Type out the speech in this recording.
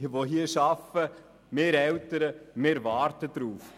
Wir, die arbeiten, wir Eltern warten darauf.